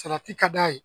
Salati ka d'a ye